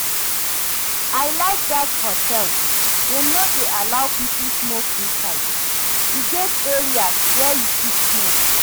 I like dat hotel, dem no dey allow people smoke inside. E get areas where you fit smoke